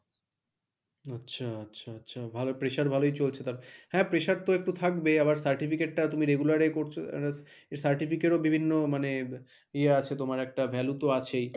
আচ্ছা আচ্ছা ভালো pressure ভালোই চলছে তার মনে, হ্যাঁ pressure তো একটু থাকবে আবার certificate টা তুমি regular এ করছো এর certificate ও বিভিন্ন মানে ইয়ে আছে তোমার একটা value তো আছেই।